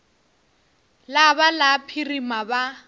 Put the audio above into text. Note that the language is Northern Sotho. la ba la phirima ba